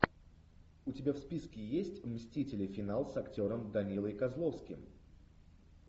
у тебя в списке есть мстители финал с актером данилой козловским